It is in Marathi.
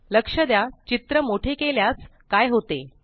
लक्ष द्या चित्र मोठे केल्यास काय होते